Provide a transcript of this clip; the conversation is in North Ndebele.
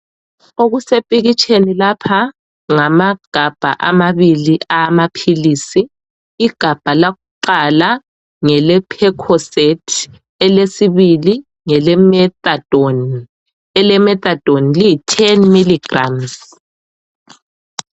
Okusepikitsheni lapha ngamagabha amabili awamaphilisi igabha lakuqala ngele Percocet elesibili ngele methadone, ele methadone liyi 10mg